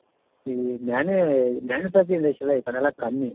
ಇಲ್ಲಿ manu manufacturing industry ಎಲ್ಲಾ ಈಕಡೆ ಎಲ್ಲಾ ಕಮ್ಮಿ